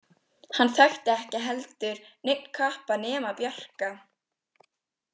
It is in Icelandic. Hann þekkti ekki heldur neinn kappa nema Bjarka.